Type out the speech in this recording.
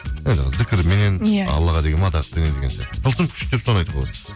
анау зікірменен иә аллаға деген мадақпенен деген сияқты тылсым күш деп соны айтуға болады